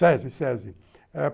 Sesi, Sesi.